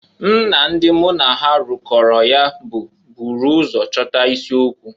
M na ndị mụ na ha rụkọrọ ya bụ buuru ụzọ chọta isi okwu.